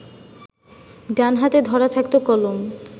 ডান হাতে ধরা থাকত কলম